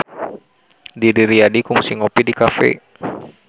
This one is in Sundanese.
Didi Riyadi kungsi ngopi di cafe